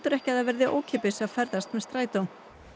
ekki að það verði ókeypis að ferðast með strætó